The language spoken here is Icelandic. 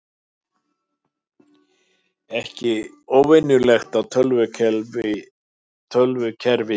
Ekki óvenjulegt að tölvukerfi bili